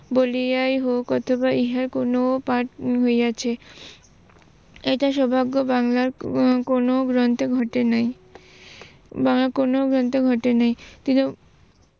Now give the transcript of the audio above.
বলিয়াই হোক অথবা ইহা কোনো পাঠ হইয়াছে, এটা সৌভাগ্য বাংলার কোনো গ্রন্থে ঘটে নাই বা কোনো গ্রন্থে ঘটে নাই।